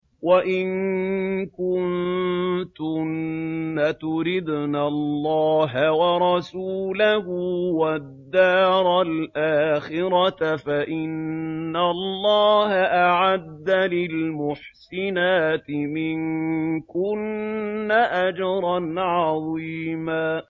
وَإِن كُنتُنَّ تُرِدْنَ اللَّهَ وَرَسُولَهُ وَالدَّارَ الْآخِرَةَ فَإِنَّ اللَّهَ أَعَدَّ لِلْمُحْسِنَاتِ مِنكُنَّ أَجْرًا عَظِيمًا